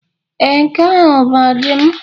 Ee, nke ahụ bụ ọdụm.